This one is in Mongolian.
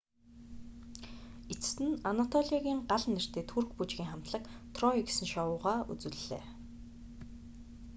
эцэст нь анатолиагийн гал нэртэй турк бүжгийн хамтлаг трой гэсэн шоугаа үзүүллээ